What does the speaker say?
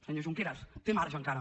senyor junqueras té marge encara